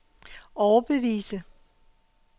overbevise